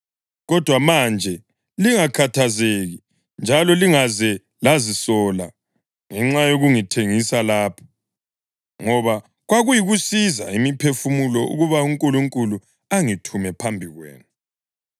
Kodwa manje lingakhathazeki njalo lingaze lazisola ngenxa yokungithengisa lapha, ngoba kwakuyikusiza imiphefumulo ukuba uNkulunkulu angithume phambi kwenu.